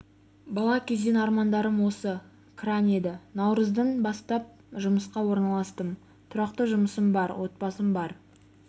бала кезден армандарым осы кран еді наурыздың бастап жұмысқа орналастым тұрақты жұмысым бар отбасым бар